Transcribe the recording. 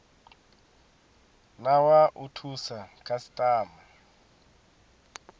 na wa u thusa khasitama